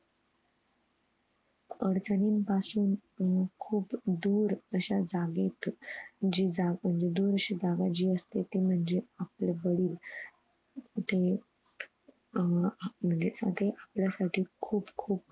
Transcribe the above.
अडचणींन पासून अं खुप दुर अश्या जागेत जी जा दुर अशी जागा जी असते ते म्हणजे आपले वडील. जे अह आपले वडील म्हणजे ते आपल्यासाठी खुप खूप